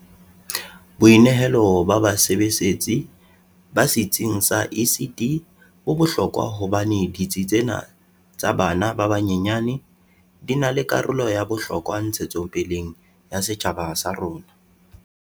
Boinehelo ba basebesetsi ba setsing sa ECD bo bohlokwa hobane ditsi tsena tsa bana ba banyenyane di na le karolo ya bohlokwa ntshetsopeleng ya setjhaba sa rona.